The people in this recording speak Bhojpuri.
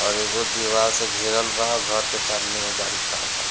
और एगो दीवार से घेरल बा घर के सामने एगो गाड़ी खाड़ा बा।